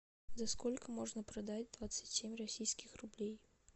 за сколько можно продать двадцать семь российских рублей